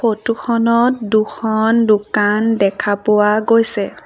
Photo খনত দুখন দোকান দেখা পোৱা গৈছে।